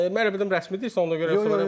Mən elə bildim rəsmi deyirsən, ona görə.